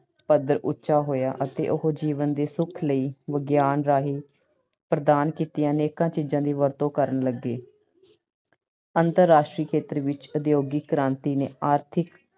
ਪੱਧਰ ਉੱਚਾ ਹੋਇਆ ਅਤੇ ਉਹ ਜੀਵਨ ਦੇ ਸੁੱਖ ਲਈ ਵਿਗਿਆਨ ਰਾਹੀਂ ਪ੍ਰਦਾਨ ਕੀਤੀਆਂ ਅਨੇਕਾਂ ਚੀਜਾਂ ਦੀ ਵਰਤੋਂ ਕਰਨ ਲੱਗੇ। ਅੰਤਰਰਾਸ਼ਟਰੀ ਖੇਤਰ ਵਿੱਚ ਉਦਯੋਗਿਕ ਕ੍ਰਾਂਤੀ ਨੇ ਆਰਥਿਕ,